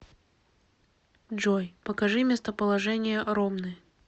джой покажи местоположение ромны